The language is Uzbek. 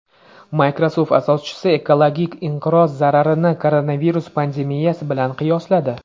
Microsoft asoschisi ekologik inqiroz zararini koronavirus pandemiyasi bilan qiyosladi.